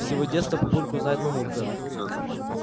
с его детства папульку знает мамулька